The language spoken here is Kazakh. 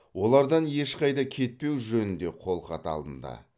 олардан ешқайда кетпеу жөнінде қолхат алынды